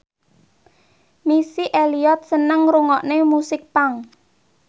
Missy Elliott seneng ngrungokne musik punk